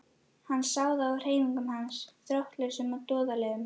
Hann sá það á hreyfingum hans, þróttlausum og doðalegum.